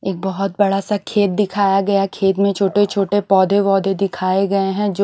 एक बहोत बड़ा सा खेत दिखाया गया खेत में छोटे छोटे पोधै वौधे दिखाये गए हैं जो--